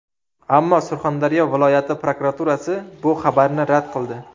Ammo Surxondaryo viloyati prokuraturasi bu xabarni rad qildi.